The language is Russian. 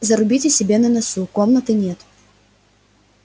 зарубите себе на носу комнаты нет